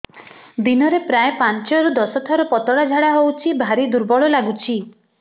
ଦିନରେ ପ୍ରାୟ ପାଞ୍ଚରୁ ଦଶ ଥର ପତଳା ଝାଡା ହଉଚି ଭାରି ଦୁର୍ବଳ ଲାଗୁଚି